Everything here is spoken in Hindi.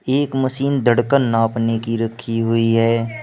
एक मशीन धड़कन नापने की रखी हुई है।